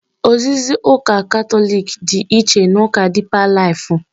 Ozizi nke ụka Katọlik dị iche na ụka dịpa laifụ.